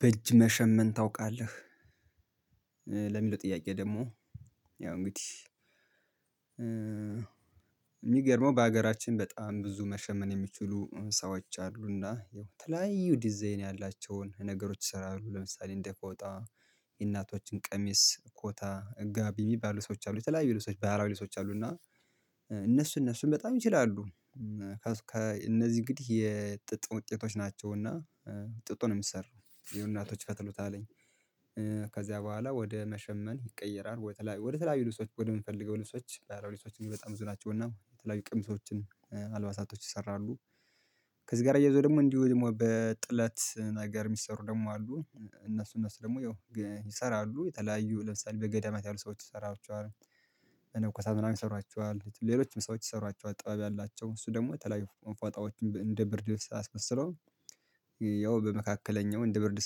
በእጅ መሸመን ታውቃለህ ለሚለው ጥያቄ ደግሞ ያው እንግዲህ። ምገረመው በሀገራችን በጣም ብዙ መሸመን የሚችሉ ሰዎች አሉና የተለያዩ ዲዛይን ያላቸውን ነገሮች ይሰራሉ ለምሳሌ እንደ ፎጣ የእናቶችን ቀሚስ ኮታ ጋቢ የሚባሉ ሰዎች አሉ። የተለያዩ ልብሶች በህለዊ ልብሶች አሉ። እና እነሱ እነሱን በጣም ይችላሉ ከእነዚህ እንግዲህ የጥጥ ውጤቶች ናቸውና ጥጡን ምሰረው የሆነ እናቶች ይፈትሉታል። ከዚያ በኋላ ወደ መሸመን ይቀየራል ወደ ተለያዩ ልብሶች ወደ ምንፈልገው ልብሶች በህለዊ ልብሶች በጣም ብዙ ነቸው የተለያዩ ቀምሶችም አልባሳቶች ይሰራሉ። ከዚህ ጋር አየይዞ ደግሞ እንዲሁ ደግሞ በጥለት ነገር የሚሰሩ ደግሞ አሉ እነሱ እነሱ ደግሞ ያው ይሰራሉ የተለያዩ ለምሳሌ በገዳማት ያሉ ሰዎች ይሰሯቸዋል። መነኮሳት ምናምን ይሰሯቸዋል ሌሎችም ሰዎች ይሰሯቸዋል ጥባብ ያላቸው እሱ ደግሞ ተለያዩ ፎጣዎችን እንደ ብርድ ልብስ አስመስለው። ያው በመካከለኛው እንደ ብርድ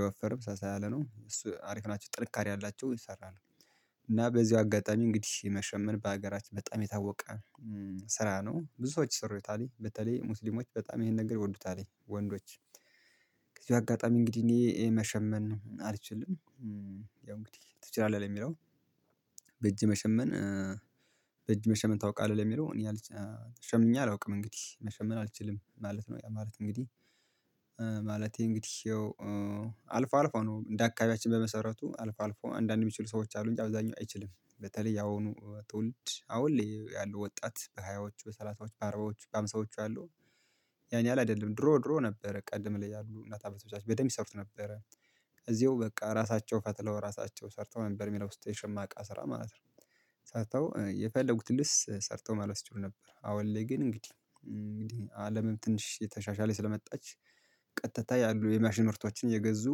አይወፈርም ሳሳ ያለ ነው እሱ አሪፍ ናቸው ጥንከሬ አላቸው ይሰራሉ። እና በዚህ አጋጣሚ እንግዲህ መሸመን በሀገራችን በጣም የታወቀ ስራ ነው ብዙ ሰዎች ይሰሩታል በተለይ ሙስሊሞች በጣም ይሄን ነገር ይወዱታል ወንዶች በዚህ አጋጣሚ እንግዲህ እኔ መሸመን አልችልም። ያው እንግዲህ ትችላለህ ለሚለው በእጄ መሸመን በእጅ መሸመን ታውቃለህ ለሚለው እኔ አልችልም ሸምኜ አላውቅም እንግዲህ መሸመን አልችልም ማለት ነው። ያ ማለት እንግዲህ ማለቴ እንግዲህ አልፎ አልፎ ነው እንደ አካባቢያችን በመሰረቱ አልፎ አንዳንድ የሚችሉ ሰዎች አሉ አብዛኛው አይችልም። በተለይ የአሁኑ ትውልድ አሁን ለይ ያሉ ወጣት በሃያዎቹ በሰላሰዎቹ በአርባዎቹ በሃምሳዎቹ ያሉ ያን የህል አይደለም ድሮ ድሮ ነበረ ቀደም ላይ ያሉ እናት አበቶቻችን በደንብ ይሰሩት ነበረ። እዚሁ በቃ ራሳቸው ፈትለው ራሳቸው ሰርተው ነበር የሚለብሱት የሸማ እቃ ስራ ማለት ነው። ሰርተው የፈለጉትን ልብስ ሰርተው መልበስ ይችሉ ነበር። አሁን ላይ ግን እንግዲህ እንግዲህ አለምም ትንሽ እተሻሻለ ስለመጣች ቀጥታ ያሉ የመሽን ምርቶችን እየገዙ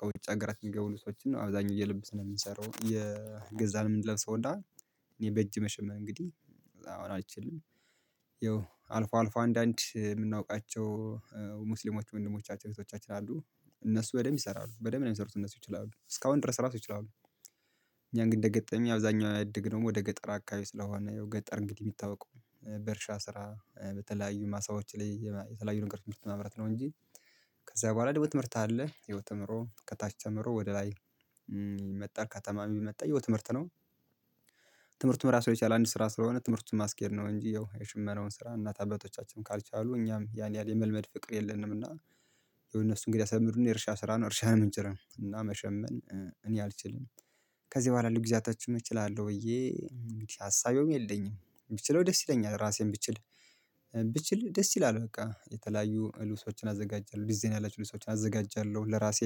ከውጭ አገራት የሚገቡ ልብሶችን ነው አብዛኛው እየለበስን ነው የምንሰራው እየገዛን ምንለብሰው እና እኔ በእጅ መሸመን እንግዲህ አሁን አልችልም። አልፎ አልፎ አንዳንድ የምናውቃቸው ሙስሊሞች ወንድሞቻችን እህቶቻችን አሉ እነሱ በደንብ ይሰራሉ በደንብ ነው የሚሰሩት እነሱ ይችላሉ እስካሁን ድረስ ራሱ ይችላሉ። እኛ ግን እንደገጠመኝ አብዛኛውን ያድግነውም ወደ ገጠር አካባቢ ስለሆነ ገጠር እንግዲህ የሚታወቀው በእርሻ ስራ በተለያዩ ማሳዎች ላይ የተለያዩ አይነት ምርት ማምረት ነው እንጂ። ከዛ በኋላ ደግሞ ትምህርት አለ የሆነ ተምሮ ከታች ተምሮ ወደ ላይ መጣር ከተማ የመጣው ትምህርት ነው። ትምህርትም ራሱ የቻለ አንድ ስራ ስለሆነ ትምህርቱን ማስኬድ ነው እንጂ ያው የሽመነውን ስራ እናት አባቶቻችን ካልቻሉ እኛም ያን ያህል የመልመድ ፍቅር የለንም። እና የሆነ እነርሱ እንግዲህ የስተማሩን የእርሻ ስራ ነው እርሻ ነው የምንችለው እና መሸመን እኔ አልችልም። ከዚህ በኋላ የለውን ጊዜየቶችን እችላለሁ ብዬ አሰብም የለኝም ብችለው ደስ ይለኛል። ራሴን ብችል ብችል ደስ ይላሉ በቃ የተለያዩ ልብሶችን አዘጋጃለሁ ዲዛይን ያላችሁ ልብሶችን አዘጋጃለሁ ለራሴ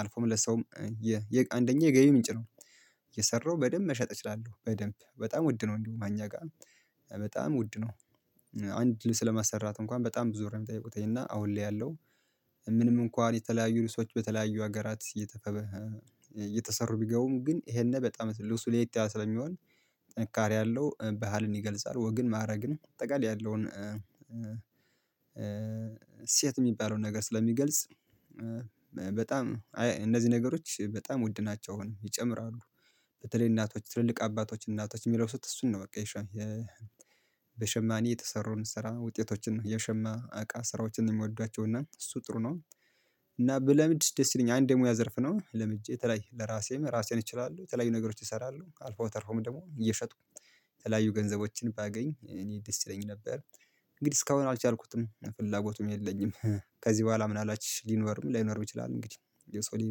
አልፎም ለሰውም የ አንደኛ የገቢ ምንጭ ነው። እየሰራው በደንብ መሸጥ እችላለሁ በደንብ በጣም ውድ ነው እንዲሁ እኛ ጋር በጣም ውድ ነው። አንድ ልብስ ለመስራት እንኳን በጣም ብዙ ብር ነው ምጠይቁት እና አሁን ላይ ያለው። ምንም እንኳን የተለያዩ ልብሶች በተለያዩ ሀገራት እየተፈበረ እየተሰሩ ቢገቡም ግን ይሄን በጣም ልብሱ ለያት የለ ስለሚሆን ጥንካራ አለው ባህልን ይገልጻል ወግን ማድረግን አጠቃላይ ያለውን እሴት የሚባለውን ነገር ስለሚገልጽ። በጣም አይ እነዚህ ነገሮች በጣም ውድ ናቸው አሁን ይጨምራሉ። በተለይ እናቶች ትልልቅ አባቶች እናቶች የሚለብሱት እሱን ነው በቃ በሸማኔ የተሰራውን ስራ ውጤቶችን የሸማ እቃ ስራዎችን ነው የምወደቸው እና እሱ ጥሩ ነው። እና ብለምድ ደስ ይለኛል አንዴ የሙያ ዘርፍ ነው ለምጄ የተለያ ለራሴም ራሴን እችላለሁ የተለያዩ ነገሮች እሰራለሁ አልፎ ተርፎም ደግሞ እየሸጥኩ የተለያዩ ገንዘቦችን ባገኝ እኔ ደስ ይለኝ ነበር። እንግዲህ እስካሁን አልቻልኩትም ፍላጎቱም የለኝም። ከዚህ በኋላ ምን አላበት ሊኖርም ላይኖርም ይችላል። እንግዲህ የሰው ልጅ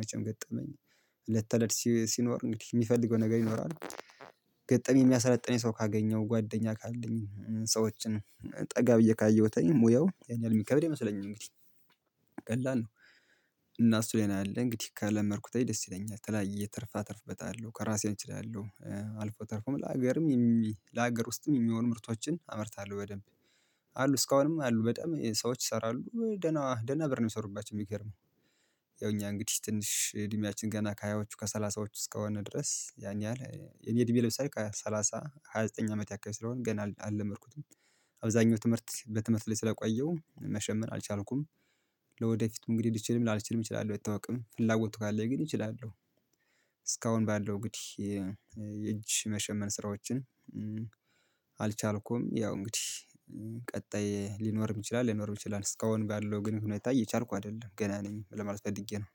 መቼም ገጠመኝ ለተለድ ሲኖር እንግዲህ የሚፈልገው ነገር ይኖራል። ገጠመኝ የሚያሰለጥነኝ ሰው ካገኘሁ ጓደኛ ካለኝ ሰዎችን ጠጋ ብዬ ካየሁት ሙያው ያን ያህል የሚከብድ አይመስለኝም እንግዲህ። ቀለል ነው። እና እሱ ሌላ አለ እንግዲህ ካለመድኩት አይ ደስ ይለኛል የተላያየ ትርፋ አተርፈበታለሁ ከራሴን እችላለሁ አልፎ ተርፎም ለሀገርም የም ለሀገር ውስጥም የሚሆን ምርቶችን አመርታለሁ በደንብ። አሉ እስካሁንም አሉ በጣም ሰዎች ይሰራሉ ደህና ደህና ብር ነው የሚሰሩባቸው የሚገርመው። ያው እኛ እንግዲህ ትንሽ እድሜያችን ገና ከሃያዎቹ ከሰላሳዎቹ እስከሆነ ድረስ ያን ያህል እኔ እድሜ ለምሳሌ ከሰላሳ ሃያ ዘጠኝ አመት የክል ስለሆነ ገና አልለመድኩትም። አብዛኛው ትምህርት በትምህርት ላይ ስለቆየው መሸመን አልቻልኩም። ለወደፊቱ እንግዲህ ልችልም ላልችልም እችላለሁ አይታወቅም ፍላጎቱ ካለኝ ግን እችላለሁ። እስካሁን ባለው እንግድይ የእጅ መሸመን ስራዎችን። አልቻልኩም ያው እንግዲህ ቀጣይ ሊኖርም ይችላል ለይኖርም ይችላል እስካሁን ባለው ግን ሁኔታ እያቸልኩ አይደለም ገና ነኝ ለማለት ፈልጌ ነው